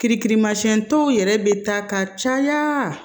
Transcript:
Kirimasiɲɛn dɔw yɛrɛ bɛ taa ka caya